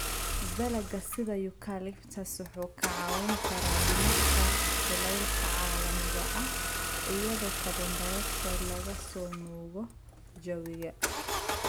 Dalagga sida Eucalyptus wuxuu kaa caawin karaa dhimista kulaylka caalamiga ah iyadoo CO2 laga soo nuugo jawiga.